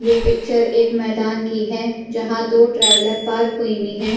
ये पिक्चर एक मैदान की है जहां दो ट्रेवलर पार्क हुई हुई हैं।